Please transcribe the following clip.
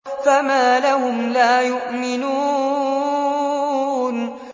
فَمَا لَهُمْ لَا يُؤْمِنُونَ